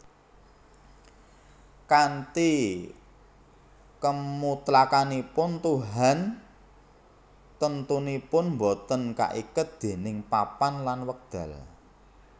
Kanthi kemutlakanipun tuhan temtunipun boten kaiket déning papan lan wekdal